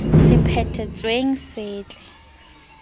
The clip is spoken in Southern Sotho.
se phethe tsweng se setle